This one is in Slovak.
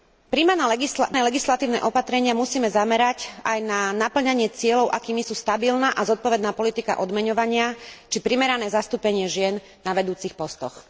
Prijímané legislatívne opatrenia musíme zamerať aj na napĺňanie cieľov, akými sú stabilná a zodpovedná politika odmeňovania či primerané zastúpenie žien na vedúcich postoch.